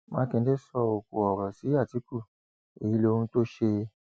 mákindé sọkò ọrọ sí àtìkù èyí lohun tó ṣe